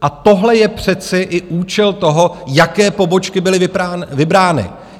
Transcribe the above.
A tohle je přece i účel toho, jaké pobočky byly vybrány.